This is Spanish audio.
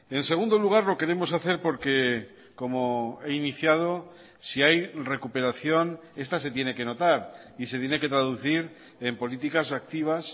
en segundo lugar lo queremos hacer porque como he iniciado si hay recuperación esta se tiene que notar y se tiene que traducir en políticas activas